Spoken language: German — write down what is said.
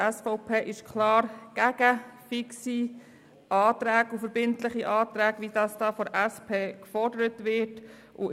Die SVP ist klar gegen fixe Anträge und verbindliche Anträge, wie sie von der SP gefordert werden.